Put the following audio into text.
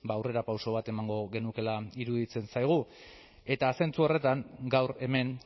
ba aurrerapauso bat emango genukeela iruditzen zaigu eta zentzu horretan gaur hemen